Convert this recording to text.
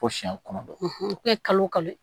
Ko siyɛn kɔnɔ u kɛ kalo kalo